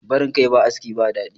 barin Kai ba aski ba dadi